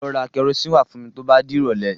Lọ ra kẹrosíìnì wá fún mi tó bá dìrọ̀lẹ́.